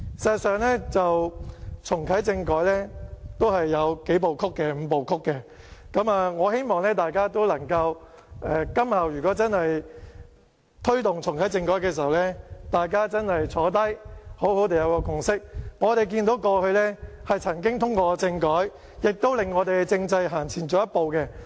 事實上，重啟政改是有"五步曲"，我希望今後如果推動重啟政改的時候，大家可以得出一個共識，我們看到過去曾經通過政改，亦令我們的政制走前一步。